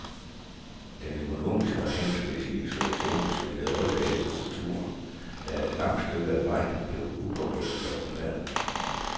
Den økonomiske og handelsmæssige isolation smittede også af på kulturen, der et langt stykke af vejen forblev upåvirket af omverdenen.